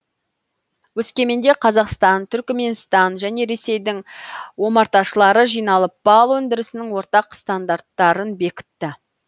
өскеменде қазақстан түркіменстан және ресейдің омарташылары жиналып бал өндірісінің ортақ стандарттарын бекітті